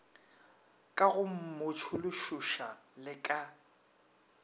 ka go mmotšološoša le ka